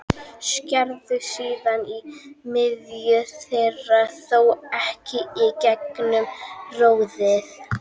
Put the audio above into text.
Skerðu síðan í miðju þeirra, þó ekki í gegnum roðið.